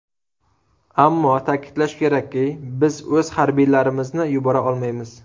Ammo ta’kidlash kerakki, biz o‘z harbiylarimizni yubora olmaymiz.